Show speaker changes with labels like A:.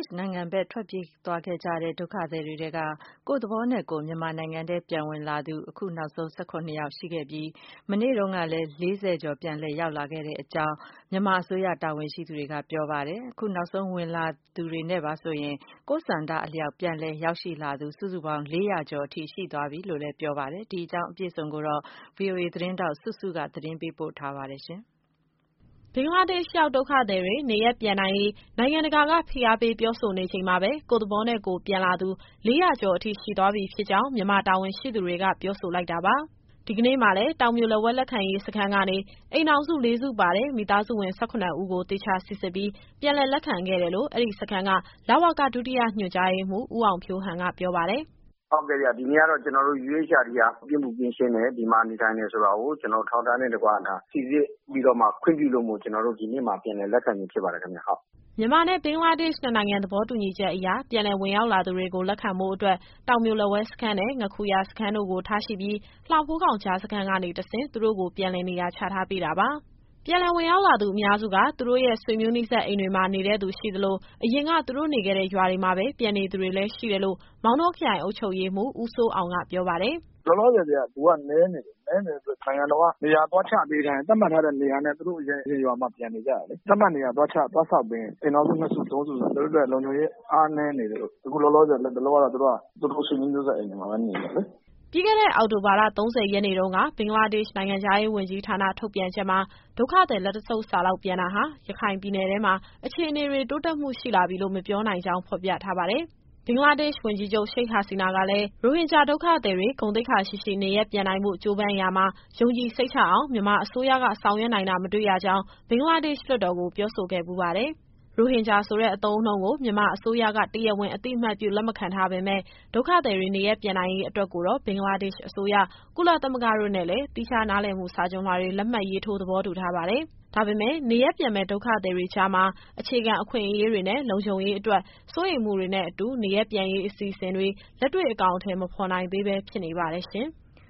A: ှ်နိုင်ငံဘက် ထွက်ပြေးသွားကြတဲ့ ဒုက္ခသည်တွေထဲက ကိုယ့်သဘောနဲ့ကိုယ် မြန်မာနိုင်ငံထဲ ပြန်ဝင်လာသူ ၁၇ ယောက် ရှိခဲ့ပြီး မနေ့တုန်းကလည်း ၄၀ ကျော် ပြန်လည် ရောက်ရှိလာခဲ့ကြောင်း မြန်မာအစိုးရ တာဝန်ရှိသူတွေက ပြောပါတယ်။ အခုနောက်ဆုံး ဝင်လာသူတွေနဲ့ပါဆိုရင် ကိုယ့်ဆန္ဒအလျောက် ပြန်လည်ရောက်ရှိလာသူ ၄၀၀ ကျော် အထိရှိသွားပြီလို့လည်း ဆိုပါတယ်။ ဒီအကြောင်းအပြည့်အစုံကို ဗွီအိုအေသတင်းထောက် စုစုက သတင်းပေးပို့ထားပါတယ်။ ဘင်္ဂလားဒေ့ရှ်ရောက် ဒုက္ခသည်တွေ နေရပ်ပြန်နိုင်ရေး နိုင်ငံတကာက ဖိအားပေး ပြော
B: ဆိုနေချိန်မှာပဲ ကိုယ့်သဘောနဲ့ကိုယ် ပြန်လာသူ ၄၀၀ ကျော်အထိ ရှိသွားပြီဖြစ်ကြောင်း မြန်မာတာဝန်ရှိသူတွေက ပြောဆိုလိုက်တာပါ။ ဒီကနေ့မှာလည်း တောင်ပြိုလက်ဝဲ လက်ခံရေးစခန်းကနေ အိမ်ထောင်စု ၄စုပါတဲ့ မိသားစုဝင် ၁၇ ဦးကို သေချာစိစစ်ပြီး ပြန်လည်လက်ခံခဲ့တယ်လို့ အဲဒီစခန်းက (လဝက) ဒုတိယညွှန်ကြားရေးမှူး ဦးအောင်ဖြိုးဟန်က ပြောပါတယ်။ “ဟုတ်ကဲ့ဗျ။ ဒီနေ့ကတော့ ကျတော်တို့ UEHRD က ပြစ်မှုကင်းရှင်းတယ်။ ဒီမှာနေထိုင်တယ်ဆိုတာကို ကျတော်တို့အထောက်အထားနဲ့တကွ ဒါစိစစ်ပြီးတော့မှ ခွင့်ပြုလို့ ကျတော်တို့ ဒီနေ့မှာ ပြန်လည်လက်ခံခြင်း ဖြစ်ပါတယ်ခင်ဗျ ဟုတ်။” မြန်မာနဲ့ ဘင်္ဂလားဒေ့ရှ် နှစ်နိုင်ငံသဘောတူညီချက်အရ ပြန်လည်ဝင်ရောက်လာသူတွေကို လက်ခံဖို့အတွက် တောင်ပြိုလက်ဝဲစခန်းနဲ့ ငါးခူရစခန်းတို့ကို ထားရှိပြီး လှဖိုးခေါင်ကြားစခန်းကနေ တဆင့် သူတို့ကို ပြန်လည်နေရာချထားပေးတာပါ။ ပြန်လည်ဝင်ရောက်လာသူ အများစုက သူတို့ရဲ့ ဆွေမျိုးနီးစပ်အိမ်တွေမှာ နေတဲ့သူ ရှိသလို အရင်က သူတို့နေခဲ့တဲ့ ရွာထဲမှာပဲ ပြန်နေသူတွေလည်း ရှိတယ်လို့ မောင်တောခရိုင် အုပ်ချုပ်ရေးမှူး ဦးစိုးအောင်က ပြောပါတယ်။ “လောလောဆယ်မှာ လူက နည်းနေတယ်။ နည်းနေတဲ့အတွက် နိုင်ငံတော်က နေရာသွားချပေးထားရင် သတ်မှတ်ထားတဲ့နေရာနဲ့ သူတို့ရဲ့အရင်ရွာမှာ ပြန်နေကြတာလေ။ သတ်မှတ်နေရာ သွားချ၊ သွားဆောက်ပေးရင် အိမ်ထောင်စု နှစ်စု၊ သုံးစုဆိုတော့ သူတို့အတွက် လုံခြုံရေး အားနည်းနေသေးလို့ အခုလောလောဆယ် လတ်တလောကတော့ သူတို့က သူတို့ဆွေမျိုးနီးစပ် အိမ်တွေမှာပဲ နေတယ်လေ။” ပြီးခဲ့တဲ့ အောက်တိုဘာလ ၃၀ရက်နေ့တုန်းက ဘင်္ဂလားဒေ့ရှ် နိုင်ငံခြားရေးဝန်ကြီးဌာန ထုတ်ပြန်ချက်မှာ ဒုက္ခသည် လက်တဆုပ်စာလောက် ပြန်တာဟာ ရခိုင်ပြည်နယ်ထဲမှာ အခြေအနေတွေ တိုးတက်မှုရှိလာပြီလို့ မပြောနိုင်ကြောင်း ဖော်ပြထားပါတယ်။ ဘင်္ဂလားဒေ့ရှ် ဝန်ကြီးချုပ် Sheikh Hasina ကလည်း ရိုဟင်ဂျာ ဒုက္ခသည်တွေ ဂုဏ်သိက္ခာရှိရှိ နေရပ်ပြန်နိုင်ဖို့ ကြိုးပမ်းရာမှာ ယုံကြည်စိတ်ချအောင် မြန်မာအစိုးရက ဆောင်ရွက်နိုင်တာ မတွေ့ရကြောင်း ဘင်္ဂလားဒေ့ရှ် လွှတ်တော်ကို ပြောဆိုခဲ့ဖူးပါတယ်။ ရိုဟင်ဂျာဆိုတဲ့ အသုံးအနှုန်းကို မြန်မာအစိုးရက တရားဝင်အသိအမှတ်ပြု လက်မခံထားပေမယ့် ဒုက္ခသည်တွေ နေရပ်ပြန်နိုင်ရေးအတွက်ကိုတော့ ဘင်္ဂလားဒေ့ရှ်အစိုးရ၊ ကုလသမဂ္ဂ တို့နဲ့လည်း သီးခြားနားလည်မှု စာချွန်လွှာတွေ လက်မှတ်ရေးထိုး သဘောတူထားပါတယ်။ ဒါပေမဲ့လည်း နေရပ်ပြန်မယ့် ဒုက္ခသည်တွေကြားမှာ အခြေခံအခွင့်အရေးတွေနဲ့ လုံခြုံရေးအတွက် စိုးရိမ်မှုတွေနဲ့အတူ နေရပ်ပြန်ရေးအစီအစဉ်တွေ လက်တွေ့ အကောင်အထည် မဖော်နိုင်သေးဘဲ ဖြစ်နေပါတယ်ရှင်။